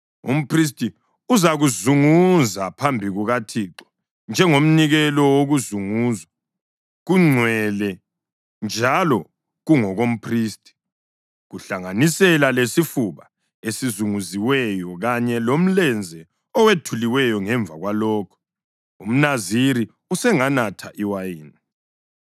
Umphristi uzakuzunguza phambi kukaThixo njengomnikelo wokuzunguzwa; kungcwele njalo kungokomphristi, kuhlanganisela lesifuba esizunguziweyo kanye lomlenze owethuliweyo. Ngemva kwalokho, umNaziri usenganatha iwayini.